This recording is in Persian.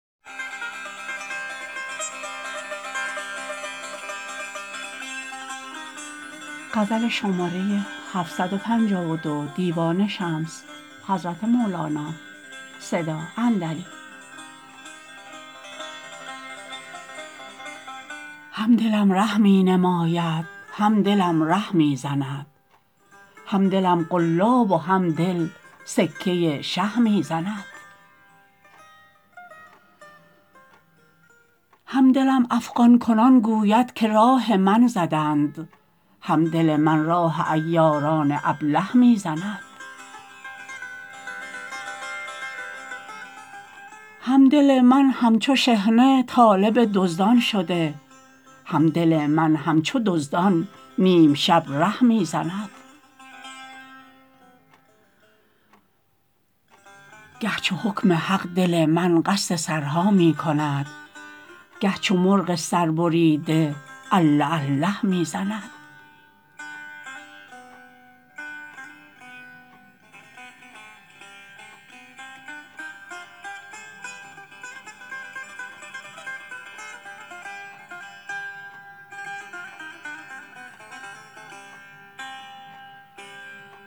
هم دلم ره می نماید هم دلم ره می زند هم دلم قلاب و هم دل سکه شه می زند هم دلم افغان کنان گوید که راه من زدند هم دل من راه عیاران ابله می زند هم دل من همچو شحنه طالب دزدان شده هم دل من همچو دزدان نیم شب ره می زند گه چو حکم حق دل من قصد سرها می کند گه چو مرغ سربریده الله الله می زند